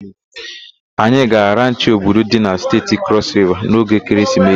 Anyị gara ranchị Obudu dị na Steeti Crọs Riva n'oge ekeresimesi.